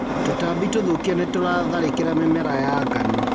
Tũtambi tũthũkia nĩtũratharĩkira mĩmera ya ngano.